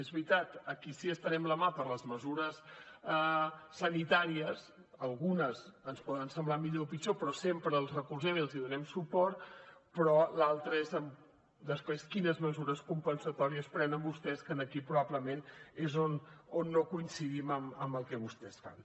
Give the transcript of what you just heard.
és veritat a qui sí que estenem la mà per les mesures sanitàries algunes ens poden semblar millor o pitjor però sempre els recolzem i els donem suport però l’altra és després quines mesures compensatòries prenen vostès que aquí probablement és on no coincidim amb el que vostès fan